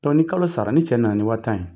ni kalo sara ni cɛ na na ni wa tan ye.